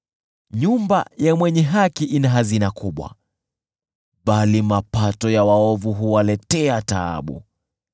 Nyumba ya mwenye haki ina hazina kubwa, bali mapato ya waovu huwaletea taabu.